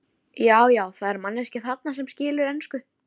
Ekki laust við að vatn kæmi í munninn á okkur.